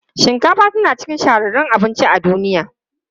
Shinkafa tana cikin shahararrun abinci a duniya.